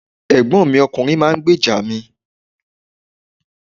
Ẹ̀gbọ́n mi ọkùnrin máa ń gbèjà mi.